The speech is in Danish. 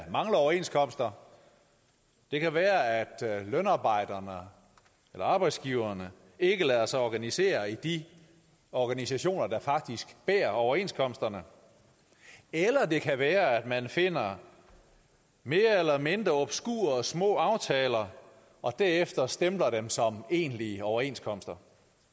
mangler overenskomster det kan være at lønarbejderne eller arbejdsgiverne ikke lader sig organisere i de organisationer der faktisk bærer overenskomsterne eller det kan være at man finder mere eller mindre obskure og små aftaler og derefter stempler dem som egentlige overenskomster